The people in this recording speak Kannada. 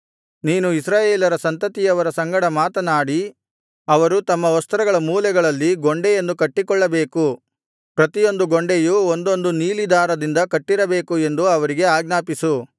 ನೀನು ಇಸ್ರಾಯೇಲರ ಸಂತತಿಯವರ ಸಂಗಡ ಮಾತನಾಡಿ ಅವರು ತಮ್ಮ ವಸ್ತ್ರಗಳ ಮೂಲೆಗಳಲ್ಲಿ ಗೊಂಡೆಗಳನ್ನು ಕಟ್ಟಿಕೊಳ್ಳಬೇಕು ಪ್ರತಿಯೊಂದು ಗೊಂಡೆಯೂ ಒಂದೊಂದು ನೀಲಿ ದಾರದಿಂದ ಕಟ್ಟಿರಬೇಕು ಎಂದು ಅವರಿಗೆ ಆಜ್ಞಾಪಿಸು